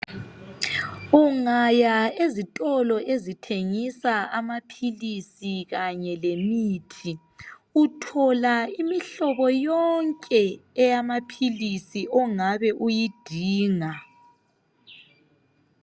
Ungaya ezitolo ezithengisa amaphilisi kanye lemithi uthola imihlobo yonke eyamaphilisi ongabe uyidinga.